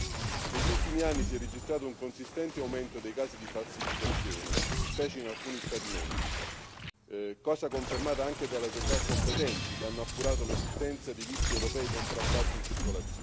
Negli ultimi anni si è registrato un consistente aumento dei casi di falsificazione, specie in alcuni Stati membri, cosa confermata anche dalle autorità competenti che hanno appurato l'esistenza di visti europei contraffatti in circolazione.